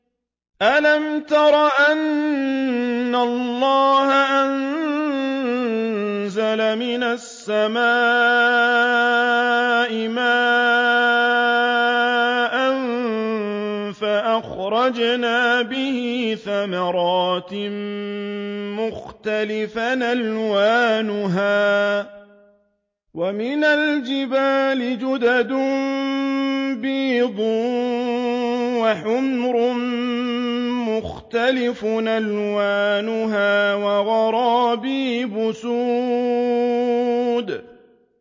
أَلَمْ تَرَ أَنَّ اللَّهَ أَنزَلَ مِنَ السَّمَاءِ مَاءً فَأَخْرَجْنَا بِهِ ثَمَرَاتٍ مُّخْتَلِفًا أَلْوَانُهَا ۚ وَمِنَ الْجِبَالِ جُدَدٌ بِيضٌ وَحُمْرٌ مُّخْتَلِفٌ أَلْوَانُهَا وَغَرَابِيبُ سُودٌ